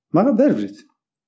маған бәрібір еді